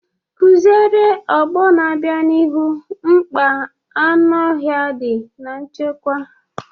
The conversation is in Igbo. Kụziere ọgbọ na-abịa n’ihu gbasara mkpa anụ ọhịa dị na nchekwa.